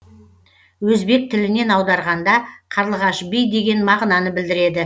өзбек тілінен аударғанда қарлығаш би деген мағынаны білдіреді